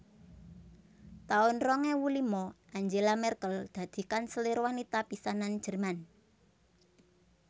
taun rong ewu lima Angela Merkel dadi kanselir wanita pisanan Jerman